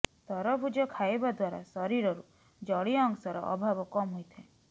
ତରଭୂଜ ଖାଇବା ଦ୍ବାରା ଶରୀରରୁ ଜଳୀୟ ଅଂଶର ଅଭାବ କମ ହୋଇଥାଏ